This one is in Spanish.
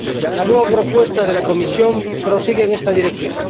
La nueva propuesta de la Comisión prosigue en esta dirección.